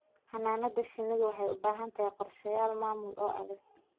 Xannaanada shinnidu waxay u baahan tahay qorshayaal maamul oo adag.